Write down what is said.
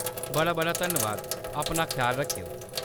बड़ा बड़ा धन्नवाद, अपना ख्याल रक्खेओ।